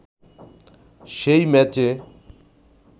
সেই ম্যাচে